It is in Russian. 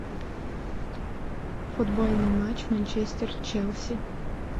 футбольный матч манчестер челси